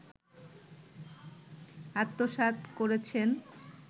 আত্মসাৎ করেছেন